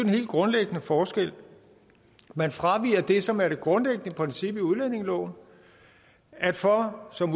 helt grundlæggende forskel man fraviger det som er det grundlæggende princip i udlændingeloven at for som